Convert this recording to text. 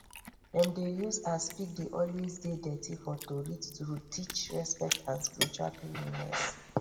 dem dey use as pig dey always dey dirty for tory to teach respect and spiritual cleanliness